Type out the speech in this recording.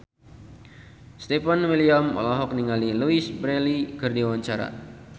Stefan William olohok ningali Louise Brealey keur diwawancara